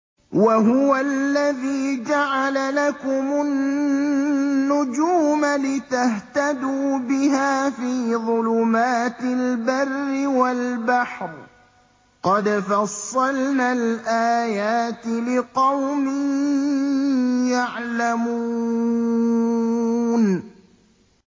وَهُوَ الَّذِي جَعَلَ لَكُمُ النُّجُومَ لِتَهْتَدُوا بِهَا فِي ظُلُمَاتِ الْبَرِّ وَالْبَحْرِ ۗ قَدْ فَصَّلْنَا الْآيَاتِ لِقَوْمٍ يَعْلَمُونَ